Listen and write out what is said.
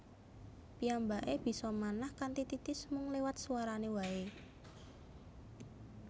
Piyambake bisa manah kanthi titis mung liwat swarane wae